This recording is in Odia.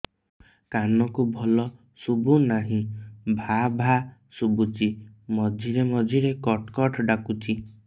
କାନକୁ ଭଲ ଶୁଭୁ ନାହିଁ ଭାଆ ଭାଆ ଶୁଭୁଚି ମଝିରେ ମଝିରେ କଟ କଟ ଡାକୁଚି